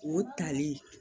O tali